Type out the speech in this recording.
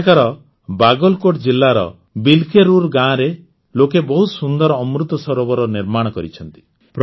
ଏଠାକାର ବାଗଲକୋଟ୍ ଜିଲ୍ଲାର ବିଲ୍କେରୁର୍ ଗାଁରେ ଲୋକେ ବହୁତ ସୁନ୍ଦର ଅମୃତ ସରୋବର ନିର୍ମାଣ କରିଛନ୍ତି